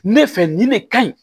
Ne fɛ ni ne ka ɲi